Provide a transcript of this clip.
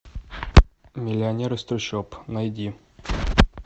миллионер из трущоб найди